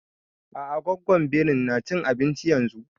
A'a gwaggon birin na cin abinci yanzun